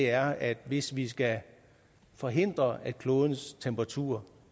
er at hvis vi skal forhindre at klodens temperatur